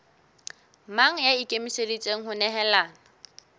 mang ya ikemiseditseng ho nehelana